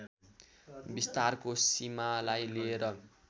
विस्तारको सीमालाई लिएर